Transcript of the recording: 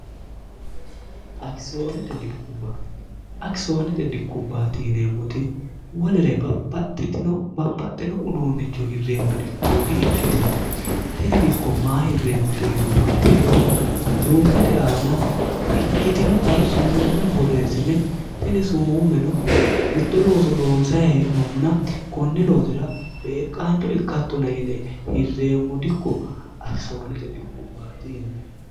akisoonete dikkubbati yineemmoti wolere babbaxxino uduunnichu hirreemmo dikko di'ikkitino tini dikko maa hirreemmote yinumma ikkiro luukete aana ikkitinota sumuumme borreessine tini sumuummeno mitto looso loonsa hee'nommuna kunni loosira beeqqaancho ikkattona yine hirreemmo dikko akisoonete dikkubbaati yinemmo